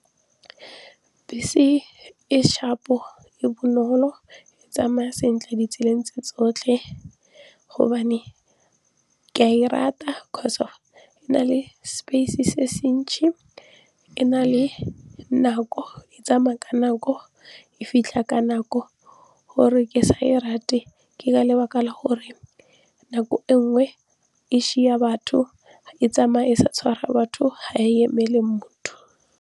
Bese e sharp-o, e bonolo e tsamaya sentle di tseleng tse tsotlhe gobane ke a e rata e na le space se se ntšhi e na le nako e tsamaya ka nako, e fitlha ka nako. Gore ke sa e rate ke ka lebaka la gore nako e nngwe e batho e tsamaye e sa tshwara batho ha e emele motho.